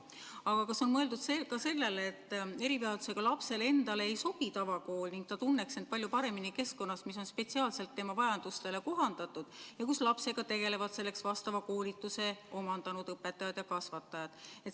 Aga kas on mõeldud ka sellele, et erivajadusega lapsele endale ei sobi tavakool ning ta tunneks end palju paremini keskkonnas, mis on spetsiaalselt tema vajadustele kohandatud ja kus lapsega tegelevad selleks vastava koolituse omandanud õpetajad ja kasvatajad?